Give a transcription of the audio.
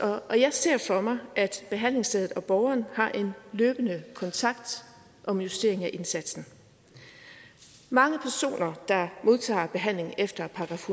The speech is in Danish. og jeg ser for mig at behandlingsstedet og borgeren har en løbende kontakt om justering af indsatsen mange personer der modtager behandling efter §